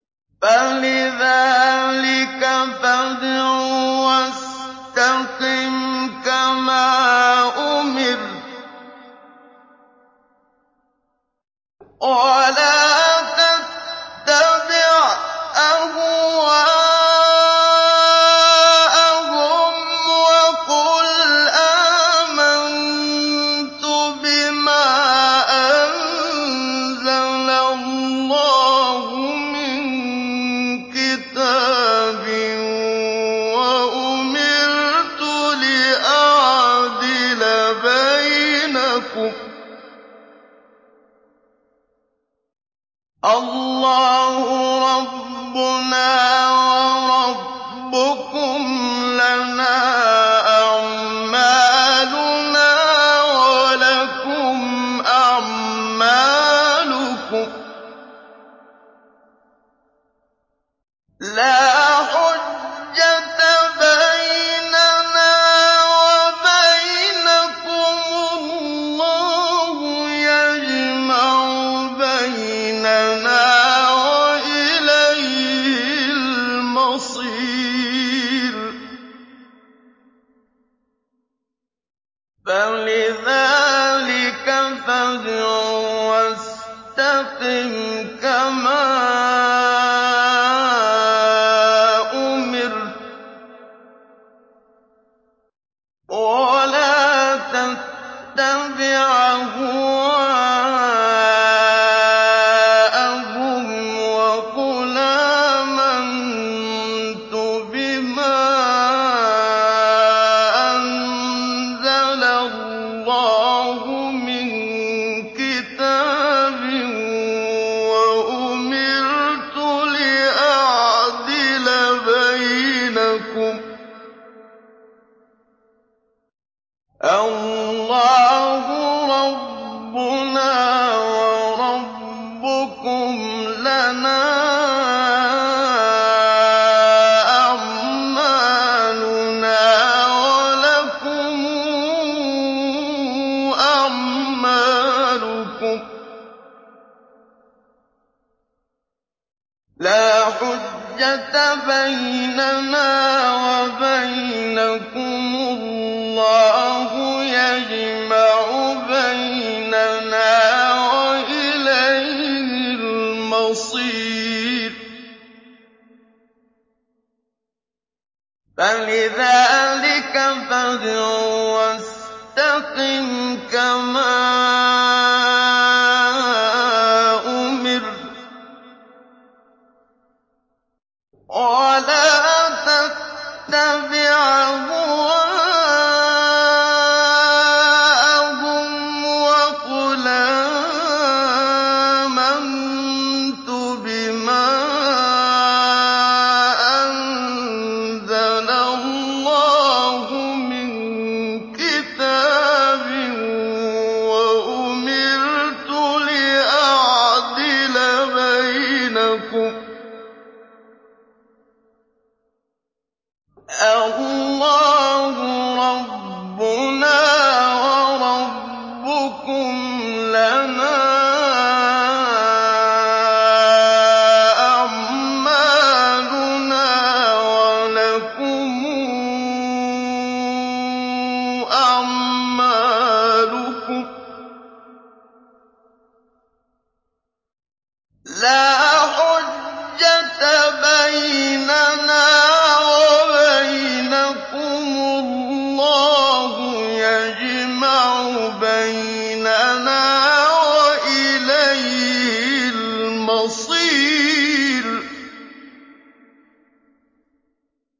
فَلِذَٰلِكَ فَادْعُ ۖ وَاسْتَقِمْ كَمَا أُمِرْتَ ۖ وَلَا تَتَّبِعْ أَهْوَاءَهُمْ ۖ وَقُلْ آمَنتُ بِمَا أَنزَلَ اللَّهُ مِن كِتَابٍ ۖ وَأُمِرْتُ لِأَعْدِلَ بَيْنَكُمُ ۖ اللَّهُ رَبُّنَا وَرَبُّكُمْ ۖ لَنَا أَعْمَالُنَا وَلَكُمْ أَعْمَالُكُمْ ۖ لَا حُجَّةَ بَيْنَنَا وَبَيْنَكُمُ ۖ اللَّهُ يَجْمَعُ بَيْنَنَا ۖ وَإِلَيْهِ الْمَصِيرُ